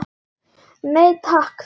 Nei takk var svarið.